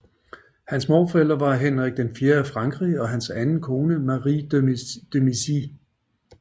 Hans morforældre var Henrik IV af Frankrig og hans anden kone Marie de Medici